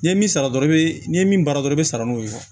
N'i ye min sara dɔrɔn i bɛ n'i ye min baara dɔrɔn i bɛ sara n'o ye